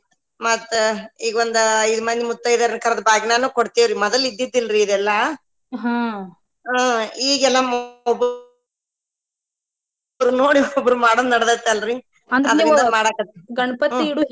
ಮತ್ತ ಈಗೊಂದ ಐದ್ ಮಂದಿ ಮುತ್ತೈದೆಯರ್ನ ಕರದ ಬಾಗಿನಾನು ಕೊಡತೆವರಿ ಮದಲ ಇದ್ದಿದಿಲ್ಲರೀ ಇದೆಲ್ಲಾ ಒಬ್ಬೊಬ್ಬರ್ನ ನೋಡಿ ಒಬ್ಬೊಬ್ಬರ ಮಾಡೋದ ನಡದೈತಿ ಅಲ್ರಿ .